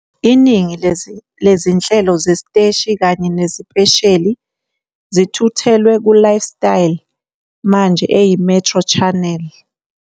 Iningi lezi lezinhlelo zesiteshi kanye nezipesheli zithuthelwe ku-Lifestyle, manje eyiMetro Channel.